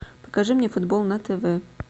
покажи мне футбол на тв